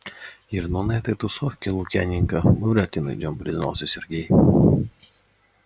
ир ну на этой тусовке лукьяненко мы вряд ли найдём признался сергей